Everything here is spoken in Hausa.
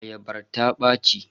Ayabar ta ɓaci.